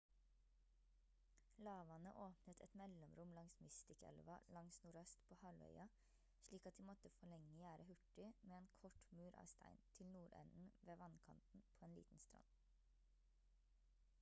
lavvannet åpnet et mellomrom langs mystic-elva langs nordøst på halvøya slik at de måtte forlenge gjerdet hurtig med en kort mur av stein til nordenden ved vannkanten på en liten strand